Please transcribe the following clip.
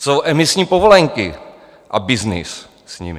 Jsou emisní povolenky a byznys s nimi.